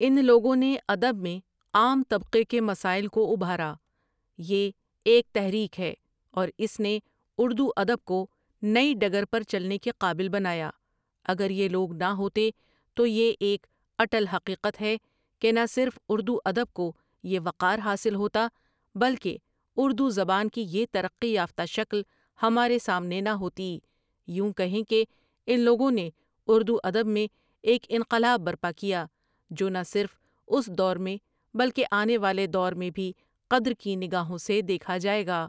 ان لوگوں نے ادب میں عام طبقے کے مساۂل کو ابھارا یہ ایک تحریک ہے اور اس نے اردو ادب کو نئی ڈگر پر چلنے کے قابل بنایا اگر یہ لوگ نہ ہوتے تو یہ ایک اٹل حقیقت ہے کہ نہ صرف اردو ادب کو یہ وقار حاصل ہوتا بل کہ اردو زبان کی یہ ترقی یافتہ شکل ہمارے سامنے نہ ہوتی یوں کہیں کے ان لوگوں نے اردو ادب میں ایک انقلاب برپا کیا جو نہ صرف اس دور میں بل کہ آنے والے دور میں بھی قدر کی نگاہوں سے دیکھا جائے گا ۔